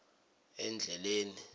endleleni